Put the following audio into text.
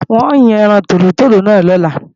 N o yàn ẹran tòlótòló náà lọ́la